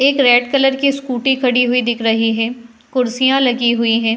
एक red colour की Scooty खड़ी हुई दिख रही है। कुर्सियां लगी हुई हैं।